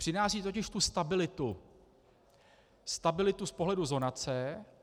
Přináší totiž tu stabilitu - stabilitu z pohledu zonace.